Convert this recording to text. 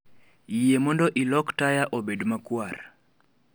Yie mondo ilok taya obed makwar